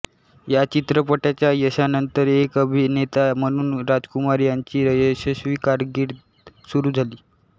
या चित्रपटाच्या यशानंतर एक अभिनेता म्हणून राजकुमार यांची यशस्वी कारकीर्द सुरू झाली